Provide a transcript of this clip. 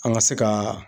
An ka se ka